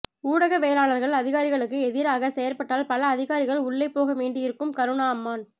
ஊடகவியலாளர்கள் அதிகாரிகளுக்கு ஏதிராக செயற்பட்டால் பல அதிகாரிகள் உள்ளே போகவேண்டிவரும் கருணா அம்மான்